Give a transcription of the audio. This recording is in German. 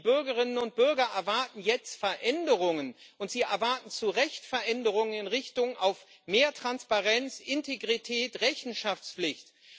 Die Bürgerinnen und Bürger erwarten jetzt Veränderungen, und sie erwarten zu Recht Veränderungen in Richtung auf mehr Transparenz, Integrität, Rechenschaftspflicht.